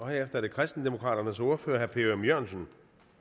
herefter er det kristendemokraternes ordfører herre per ørum jørgensen